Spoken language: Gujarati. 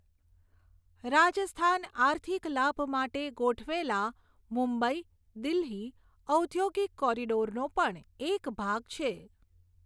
રાજસ્થાન આર્થિક લાભ માટે ગોઠવેલા મુંબઈ દિલ્હી ઔદ્યોગિક કોરિડોરનો પણ એક ભાગ છે.